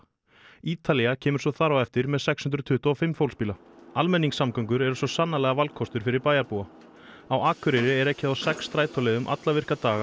Ítalía kemur svo þar á eftir með sex hundruð tuttugu og fimm fólksbíla almenningssamgöngur eru sannarlega valkostur fyrir bæjarbúa á Akureyri er ekið á sex strætóleiðum alla virka daga